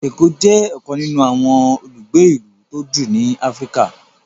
Eko jé ọkan nínú àwọn olùgbé ilú tó jù ní Africa.